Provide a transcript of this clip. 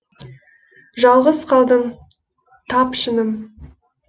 жалғыз калдым тап шыным